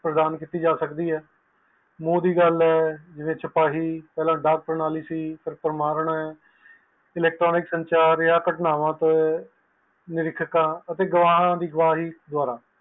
ਮੋਹ ਦੀ ਗੱਲ ਹੈ electronic ਸੰਚਾਰ ਹੈ ਅਤੇ ਗ੍ਰੈਵ ਦੀ ਗ੍ਰਹਿ ਵਾਰੋ ਖ਼ਬਰ ਨੂੰ ਦੱਸਿਆ ਗਿਆ